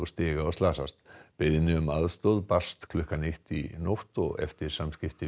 stiga beiðni um aðstoð barst klukkan eitt í nótt og eftir samskipti